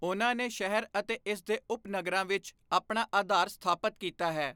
ਉਹਨਾਂ ਨੇ ਸ਼ਹਿਰ ਅਤੇ ਇਸ ਦੇ ਉਪਨਗਰਾਂ ਵਿੱਚ ਆਪਣਾ ਅਧਾਰ ਸਥਾਪਤ ਕੀਤਾ ਹੈ।